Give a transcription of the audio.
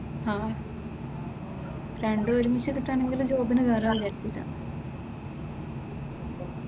ആഹ് രണ്ടും ഒരുമിച്ച് എടുക്കാണെങ്കിലും ജോബിന് കയറാമെന്ന് വിചാരിച്ചിട്ടാ.